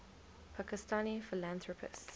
pakistani philanthropists